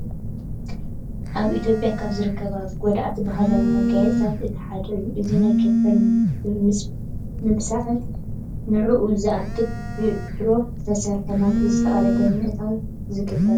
ኣብ ኢትዮጰያ ካብ ዝርከቡ ጉዳእቲ ባህላዊ መካየፅታት እቲ ሓደ እዩ። እዚ ናይ ከንፈር ምብሳዕን ንዕኡ ዝኣክል ብዕትሮ ዝተሰርሓ ናብቲ ዝተቀደደ ብምእታው ዝግበር እዩ።